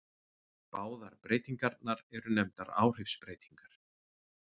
Báðar breytingarnar eru nefndar áhrifsbreytingar.